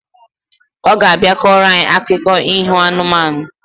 Oga abia koro anyi akuko iho anụmanụ